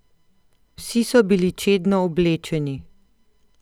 Vsi so bili čedno oblečeni.